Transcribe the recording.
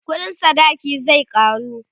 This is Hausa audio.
ƙuɗin sadaki zai karu